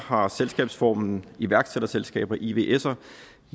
har selskabsformen iværksætterselskaber ivsere